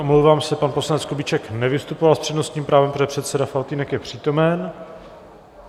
Omlouvám se, pan poslanec Kubíček nevystupoval s přednostním právem, protože předseda Faltýnek je přítomen.